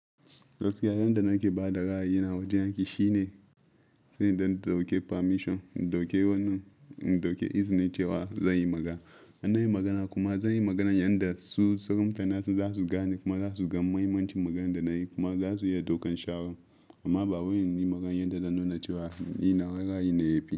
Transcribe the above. Gaskiya yanda nake ba da ra'ayi na a wajen aiki shine, sai in dan dauke permission, in dauke wannan, in dauke izini cewa zan yi magana. In nayi magana kuma zan yi maganan yanda su sauran mutane za su gane kuma za su gan muhimmancin maganan da na yi kuma za su iya daukan shawaran. Amma ba wai inyi maganan yanda zan nuna cewa ni nawa ra'ayin ne yafi.